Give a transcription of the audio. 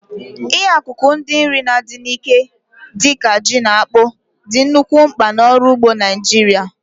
Ihe akụkụ ndị nri na-adị n'ike, dị ka ji na akpụ, dị nnukwu mkpa n'ọrụ ugbo Naijiria.